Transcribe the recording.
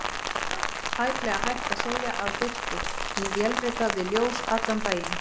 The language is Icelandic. Tæplega hægt að segja að birti: ég vélrita við ljós allan daginn.